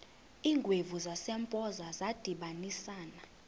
iingwevu zasempoza zadibanisana